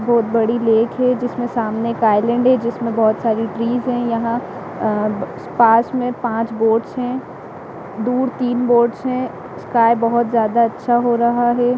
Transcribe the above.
बहुत बड़ी लेक है जिसमें सामने एक आइलैंड है जिसमें बहुत सारी ट्रीज है यहाँ अऽ पास मे पाँच बोअट्स हैं दूर तीन बोअट्स है स्काई बहुत ज्यादा अच्छा हो रहा है।